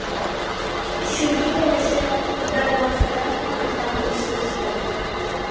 Shunga yarasha darvozalar ham dahlsiz qoldi.